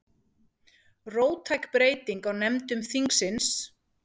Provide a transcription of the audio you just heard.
Róttæk breyting á nefndum þingsins